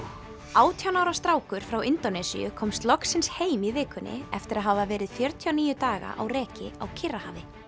átján ára strákur frá Indónesíu komst loksins heim í vikunni eftir að hafa verið fjörutíu og níu daga á reki á Kyrrahafi